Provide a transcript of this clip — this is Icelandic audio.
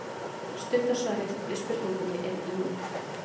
Stutta svarið við spurningunni er jú.